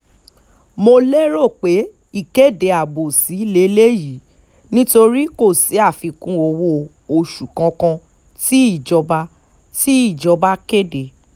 mo lérò pé ìkéde abòṣì lélẹyìí nítorí kò sí àfikún owó-oṣù kankan tí ìjọba tí ìjọba kéde